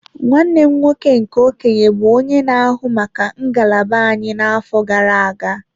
Nwanne m nwoke nke okenye bụ onye na-ahụ maka ngalaba anyị n'afọ gara aga.